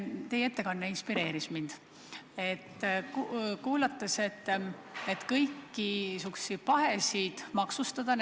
Teie ettekanne inspireeris mind, kui ma kuulasin, et kõiksuguseid pahesid tuleb maksustada.